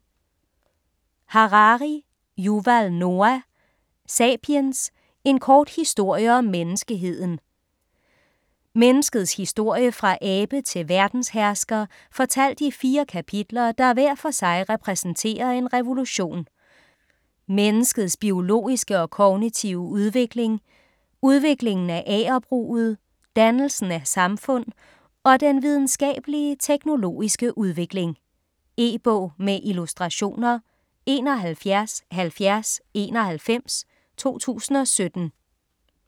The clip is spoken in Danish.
Harari, Yuval Noah: Sapiens: en kort historie om menneskeheden Menneskets historie fra abe til verdenshersker fortalt i fire kapitler der hver for sig repræsenterer en revolution: menneskets biologiske og kognitive udvikling, udviklingen af agerbruget, dannelsen af samfund og den videnskabelige/teknologiske udvikling. E-bog med illustrationer 717091 2017.